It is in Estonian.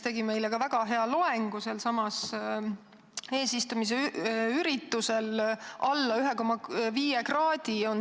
Ta pidas meile selsamal eesistumise üritusel väga hea loengu.